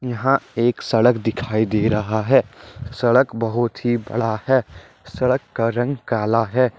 यहां एक सड़क दिखाई दे रहा है सड़क बहुत ही बड़ा है सड़क का रंग काला है।